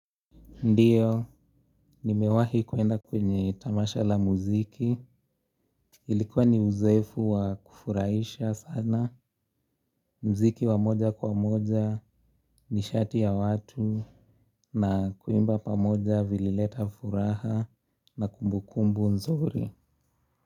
Ndiyo, nimewahi kuenda kwenye tamasha la muziki, ilikuwa ni uzoefu wa kufurahisha sana, muziki wa moja kwa moja ni shati ya watu, na kuimba pa moja vilileta furaha na kumbu kumbu nzuri.